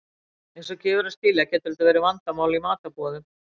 Eins og gefur að skilja getur þetta verið vandamál í matarboðum.